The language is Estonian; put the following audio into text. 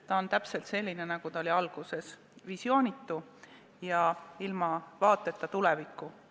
Ta on täpselt selline, nagu ta oli alguses: visioonitu ja ilma vaateta tulevikku.